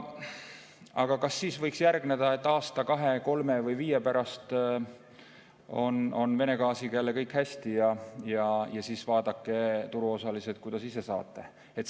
Aga kas siis võiks järgneda, et kui aasta, kahe, kolme või viie pärast on Vene gaasiga jälle kõik hästi, siis vaadake, turuosalised, ise, kuidas saate?